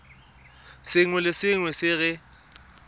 sengwe le sengwe se re